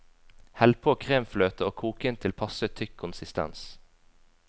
Hell på kremfløte og kok inn til passe tykk konsistens.